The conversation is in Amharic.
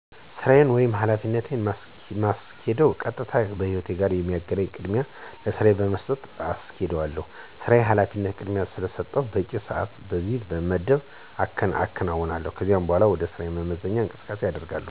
ስራየን ወይም ሀላፊነትን የማስኬደው ቀጥታ ከሕይዎቴ ጋር ስለሚገናኝ ቅድሚያ ለስራየ በመስጠት አሰኬዳለሁሸ። ስራየንናሀላፊነቴን ቅድሚያ ስሰጥም በቂ ሰአት አና ጊዜ በመመደብ አከናውናለሁ። ከዚያ በኋላከስራ መልስ የመዝናኛ እንቅስቃሴ አደርጋለሁ። የስራ ሰአትና የመዝናኛ ሰአት በመለየት እቅድ አወጣለሁ።